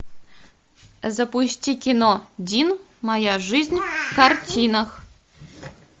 запусти кино дин моя жизнь в картинах